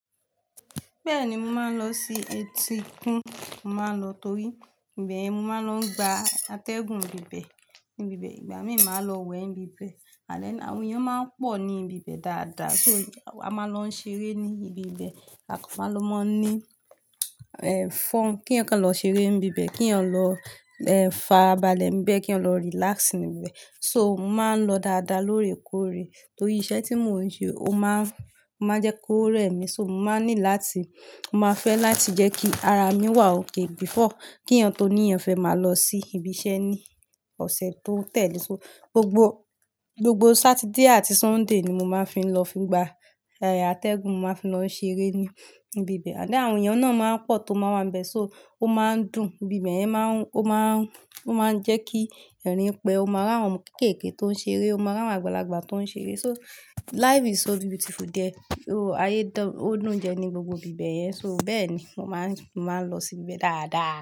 Bẹ́ẹ̀ni, mo máa ń lọ sí etíkun. Mo máa ń lọ torí, ìbẹ̀yẹ̀n, mo máa ń lọ gba atẹ́gùn ibi bẹ́ẹ̀. Níbi bẹ́ẹ̀, ìgbà míì máa lọ wẹ̀ níbi bẹ́ẹ̀. Àlẹ́ẹ̀, àwọn èèyàn máa ń pọ̀ ní ibi bẹ́ẹ̀ dáadáa. So, a máa ń lọ ṣeré ní ibi bẹ́ẹ̀. A kọ́ máa lọ máa ń ní, ẹ fun, kí èèyàn kàn lọ ṣeré níbi bẹ́ẹ̀, kí èèyàn lọ, ẹ farabalẹ̀ níbẹ̀, kí èèyàn lọ relax níbi bẹ̀. So, mo máa ń lọ dáadáa lóòrèkóòrè torí iṣẹ́ tí mò ń ṣe, ó máa ń, ó máa ń jẹ́ kó rẹ́ mi. So, mo máa ní láti, mo máa fẹ́ láti jẹ́ kí ara mi wà okay before kí èèyàn toni èèyàn fẹ́ máa lọ sí ibi iṣẹ́ ní ọ̀sẹ̀ tó ń tẹ̀lé. So, gbogbo, gbogbo Saturday àti Sunday ni mo máa ń fi lọ fi gba a ẹ atẹ́gùn, mo máa fi lọ ṣeré ní ibi bẹ́ẹ̀. Àni àwọn èèyàn náà máa ń pọ̀ tó máa wà níbẹ̀. So, ó máa ń dùn. Ibi bẹ́ẹ̀yẹn máa ń, ó máa ń, ó máa ń jẹ́ kí ẹ̀rín pé ó máa rí àwọn kéékèèké tó ń ṣeré, ó máa rí àwọn àgbàlagbà tó ń ṣeré. So, life is so beautiful there, ó ayé dọ̀, ó dúnjẹ ní gbogbo ibi bẹ̀yẹn. So, bẹ́ẹ̀ ni, mo máa ń, mo máa ń lọ sí ibi bẹ́ẹ̀ dáadáa.